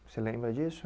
Você lembra disso?